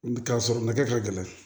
K'a sɔrɔ nɛgɛ ka gɛlɛn